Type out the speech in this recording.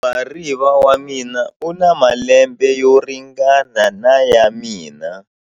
Muhariva wa mina u na malembe yo ringana na ya mina.